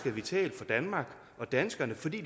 er vital for danmark og danskerne fordi